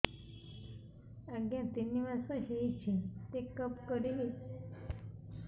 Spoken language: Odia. ଆଜ୍ଞା ତିନି ମାସ ହେଇଛି ଚେକ ଅପ କରିବି